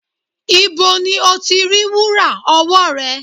Ibo ni o ti rí wúrà ọwọ́ rẹ?